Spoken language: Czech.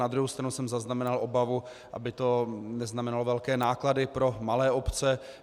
Na druhou stranu jsem zaznamenal obavu, aby to neznamenalo velké náklady pro malé obce.